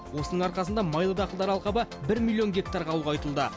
осының арқасында майлы дақылдар алқабы бір миллион гектарға ұлғайтылды